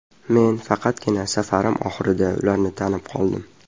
Men faqatgina safarim oxirida ularni tanib qoldim.